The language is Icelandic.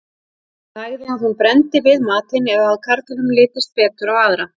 nægði að hún brenndi við matinn eða að karlinum litist betur á aðra